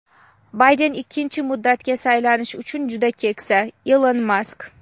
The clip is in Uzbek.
Bayden ikkinchi muddatga saylanish uchun juda keksa – Ilon Mask.